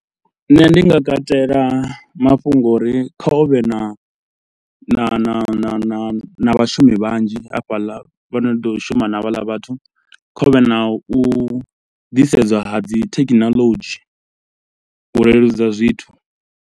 Nṋe ndi nga katela mafhungo o uri kha huvhe na na na na na na vhashumi vhanzhi hafhaḽa vho no ḓo shuma na havhaḽa vhathu, kha hu vhe na u ḓisedza ha dzi thekhinolodzhi u leludza zwithu.